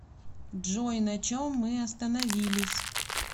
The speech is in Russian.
джой на чем мы остановились